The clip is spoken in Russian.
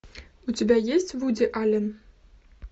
у тебя есть вуди аллен